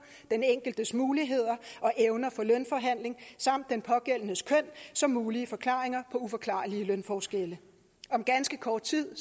den enkeltes muligheder og evner for lønforhandling samt den pågældendes køn som mulige forklaringer på uforklarlige lønforskelle om ganske kort tid